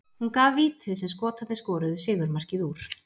Hún gaf vítið sem Skotarnir skoruðu sigurmarkið úr.